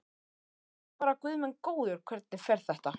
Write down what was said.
Og ég bara guð minn góður, hvernig fer þetta?